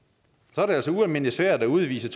så er det altså ualmindelig svært at udvise